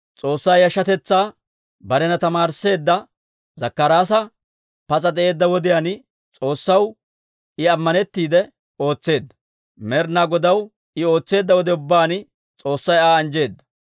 S'oossaa yashshatetsaa barena tamaarisseedda Zakkaraasi pas'a de'eedda wodiyaan, S'oossaw I ammanettiide ootseedda. Med'inaa Godaw I ootseedda wode ubbaan, S'oossay Aa anjjeedda.